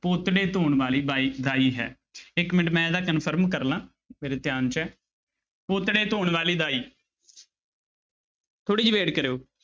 ਪੋਤੜੇ ਧੋਣ ਵਾਲੀ ਬਾਈ ਦਾਈ ਹੈ ਇੱਕ ਮਿੰਟ ਮੈਂ ਇਹਦਾ confirm ਕਰ ਲਵਾਂ ਮੇਰੇ ਧਿਆਨ 'ਚ ਹੈ ਪੋਤੜੇ ਧੋਣ ਵਾਲੀ ਦਾਈ ਥੋੜ੍ਹੀ ਜਿਹੀ wait ਕਰਿਓ।